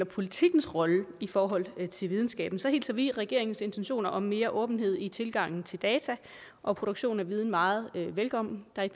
politikkens rolle i forhold til videnskaben hilser vi regeringens intentioner om mere åbenhed i tilgangen til data og produktionen af viden meget velkommen jeg